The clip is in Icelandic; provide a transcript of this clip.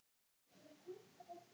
Kærar þakkir, Halli.